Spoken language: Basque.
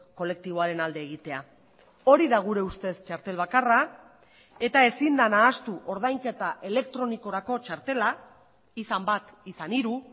kolektiboaren alde egitea hori da gure ustez txartel bakarra eta ezin da nahastu ordainketa elektronikorako txartela izan bat izan hiru